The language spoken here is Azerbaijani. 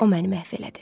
O məni məhv elədi.